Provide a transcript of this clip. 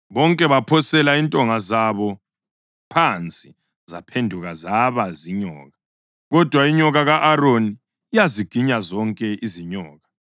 Bonke baphosela intonga zabo phansi zaphenduka zaba zinyoka. Kodwa inyoka ka-Aroni yaziginya zonke izinyoka.